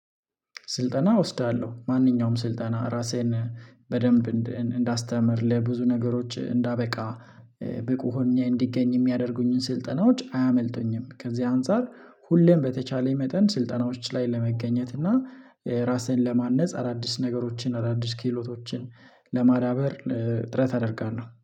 ስልጠና እወስዳለሁ ማንኛውም ስልጠና ራሴን በደንብ እንዳስተምር ለብዙ ነገሮች እንዳበቃ ብቁ ሆኜ እንዲገኝ የሚያደርጉኝን ስልጠናዎች አያመልጡኝም። ከዚህ አንፃር ሁሌም በተቻለኝ መጠን ስልጠናዎች ላይ ለመገኘት እና ራስህን ለማነጽ አዳዲስ ነገሮችን አዳዲስ ክህሎቶችን ለማዳበር ጥረት አደርጋለሁ